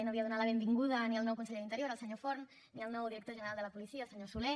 no havia donat la benvinguda ni al nou conseller d’interior el senyor forn ni al nou director general de la policia el senyor soler